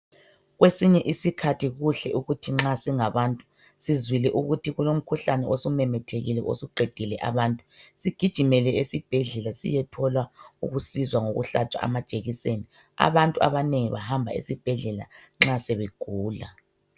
Kwesinye isikhathi kuhle ukuthi nxa singabantu sizwile ukuthi kulomkhuhlane osumemethekile osuqedile abantu, sigijimele esibhedlela siyethola ukusizwa ngokuhlatshwa amajekiseni. Abantu abanengi bahamba esibhedlela nxa sebegula.